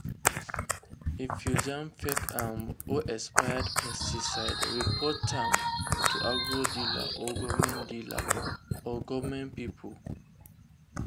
if you jam fake um or expired pesticide report am to agro dealer or government dealer or government people.